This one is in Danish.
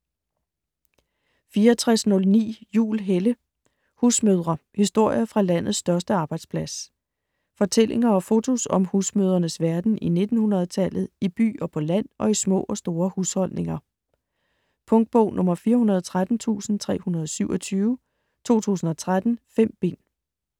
64.09 Juhl, Helle: Husmødre: historier fra landets største arbejdsplads Fortællinger og fotos om husmødrenes verden i 1900-tallet - i by og på land og i små og store husholdninger. Punktbog 413327 2013. 5 bind.